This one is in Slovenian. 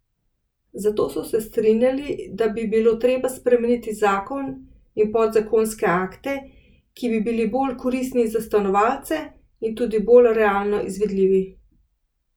Zato so se strinjali, da bi bilo treba spremeniti zakon in podzakonske akte, ki bi bili bolj koristni za stanovalce in tudi bolj realno izvedljivi.